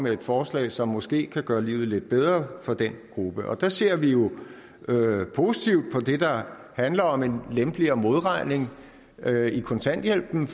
et forslag som måske kan gøre livet lidt bedre for den gruppe der ser vi positivt på det der handler om en lempeligere modregning i kontanthjælpen